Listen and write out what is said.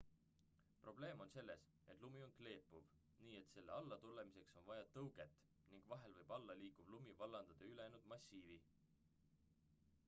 probleem on selles et lumi on kleepuv nii et selle allatulemiseks on vaja tõuget ning vahel võib alla liikuv lumi vallandada ülejäänud massiivi